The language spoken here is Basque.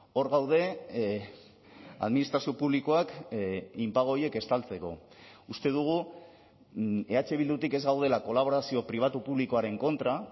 hor gaude administrazio publikoak inpago horiek estaltzeko uste dugu eh bildutik ez gaudela kolaborazio pribatu publikoaren kontra